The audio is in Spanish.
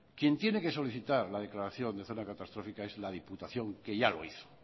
quien tiene que solicitar la declaración de zona catastrófica es la diputación que ya lo hizo